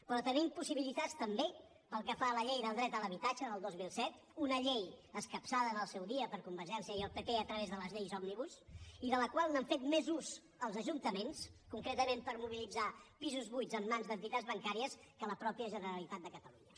però tenim possibilitats també pel que fa a la llei del dret a l’habitatge del dos mil set una llei escapçada en el seu dia per convergència i el pp a través de les lleis òmnibus i de la qual n’han fet més ús els ajuntaments concretament per mobilitzar pisos buits en mans d’entitats bancàries que la mateixa generalitat de catalunya